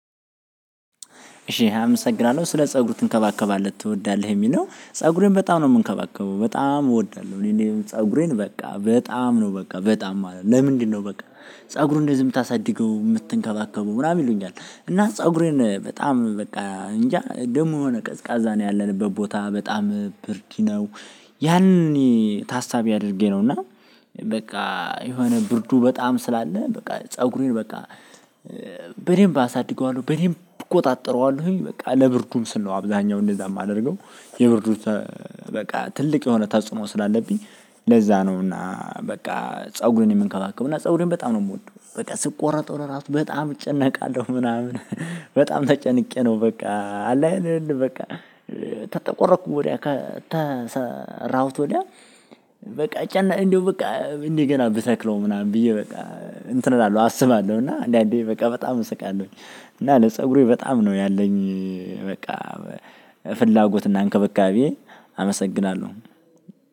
እሺ አመሰግናለሁ ስለ ፀጉር ትንከባከባለህ ትወዳለህ የሚል ነው ፀጉሬን በጣም ነው የምንከባከበው በጣም እወዳለሁ እኔ ፀጉሬን በቃ በጣም ነው በቃ በጣም ማለት ነው። ለምንድነው? በቃ ፀጉርህን እንደዚህ የምታሳድገው የምትንከባከበው ምናምን ይሉኛል እና ፀጉሬን በጣም በቃ እንጃ ደግሞ የሆነ ቀዝቃዛ ነው ያለንበት ቦታ በጣም ብርድ ነው። ያን ታሳቢ አድርጌ ነው እና። በቃ የሆነ ብርዱ በጣም ስላለ በቃ ፀጉሬን በቃ። በደንብ አሳድገዋለሁ በደንብ እቆጣጠረዋለሁኝ በቃ ለብርዱም ስል ነው አብዛኛው እንደዛ የማደርገው። የብርዱ በቃ ትልቅ የሆነ ተጽዕኖ ስላለብኝ። ለዛ ነው እና በቃ ፀጉሬን የምንከባከበው እና ፀጉሬን በጣም ነው የምወደው። በቃ ስቆረጠው ለራሱ በጣም እጨነቃለሁ ምናምን። በጣም ተጨንቄ ነው በቃ አለ አይደለ በቃ ተተጠቆረጥኩ ወዲያ ከተሰራሁት ወዲያ። በቃ እንደው በቃ እንደገና ብተክለው ምናምን ብዬ በቃ እንትን እላለሁ አስባለሁ እና አንዳንዴ በቃ በጣም እስቃለሁኝ። እና ለፀጉሬ በጣም ነው ያለኝ። በቃ ፍላጎት እና እንከበካቤ አመሰግናለሁ።